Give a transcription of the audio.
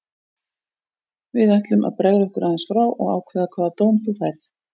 Við ætlum að bregða okkur aðeins frá og ákveða hvaða dóm þú færð.